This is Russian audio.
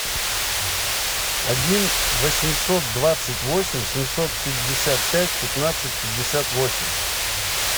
один восемьсот двадцать восемь семьсот пятьдесят пять пятнадцать пятьдесят восемь